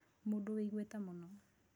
Mũndũ wĩ igweta mũno